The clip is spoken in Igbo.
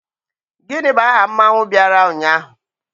Gini bu aha mmanwu biara unyahu?